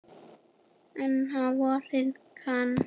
En á vorin kann